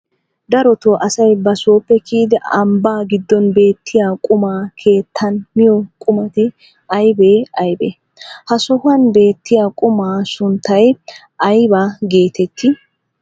Darotoo asay ba sooppe kiyidi ambbaa giddon beettiya qumaa keettan miyo qumati aybee aybee? Ha sohuwan beettiya qumaa sunttay aybaa geetettii?